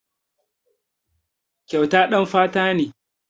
Kyauta ɗan fata ne.